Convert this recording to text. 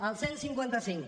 el cent i cinquanta cinc